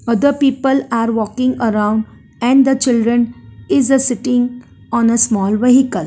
the people are walking around and the children is a sitting on a small vehicle.